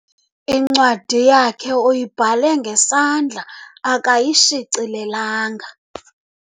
Incwadi yakhe uyibhale ngesandla akayishicilelanga.